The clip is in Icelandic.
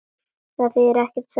Það þýðir ekkert, sagði Svenni.